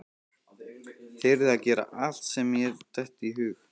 Þyrði að gera allt sem mér dytti í hug.